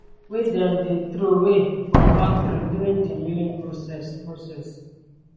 wey dem dey troway from factory during di milling process process